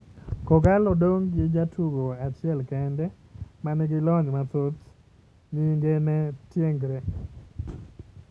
Kogallo dong' gi jatugo achiel kende ,ma nigi lony mathoth, nying'e ne Tiengre.